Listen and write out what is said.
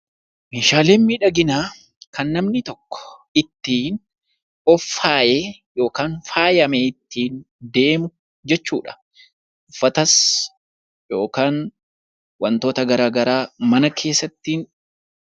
Meeshaaleen miidhaginaa kan namni tokko ittiin of faayee, kan faayamee ittiin deemu jechuu dha. Uffatas yookaan wantoota gara garaa mana keessa ittiin...